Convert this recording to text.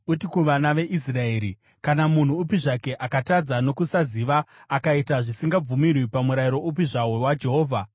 “Uti kuvana veIsraeri, ‘Kana munhu upi zvake akatadza nokusaziva akaita zvisingabvumirwi pamurayiro upi zvawo waJehovha,